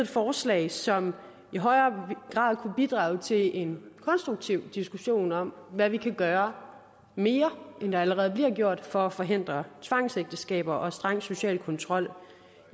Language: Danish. forslag som i højere grad kunne bidrage til en konstruktiv diskussion om hvad vi kan gøre mere end der allerede bliver gjort for at forhindre tvangsægteskaber og streng social kontrol